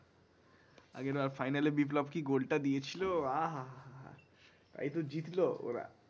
আগের বার final এ বিপ্লব কি গোলটা দিয়ে ছিলো আঃ হা হা তাই তো জিতলো ওরা।